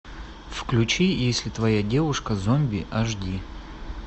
включи если твоя девушка зомби аш ди